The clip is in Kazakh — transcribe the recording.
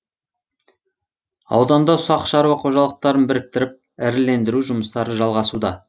ауданда ұсақ шаруа қожалықтарын біріктіріп ірілендіру жұмыстары жалғасуда